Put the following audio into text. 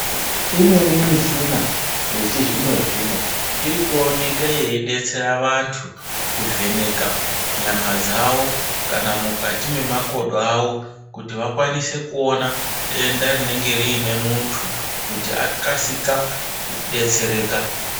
Imweni mishina yechizvino-zvino irikuoneke yeidetsere vantu kuvheneka nyama dzavo kana mukati memakodo avo kuti vakwanise kuona denda rinenge riine muntu kuti akasika kudetsereka.